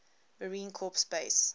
marine corps base